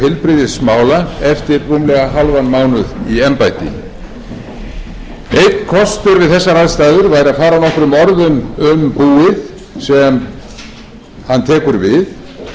heilbrigðismála eftir rúmlega hálfan mánuð í embætti einn kostur við þessar aðstæður er að fara nokkrum orðum um búið sem hann tekur við